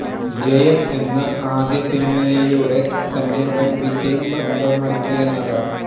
ജയം എന്ന ആദ്യ സിനിമയിലൂടെ തന്നെ വൻ വിജയം സ്വന്തമാക്കിയ നടൻ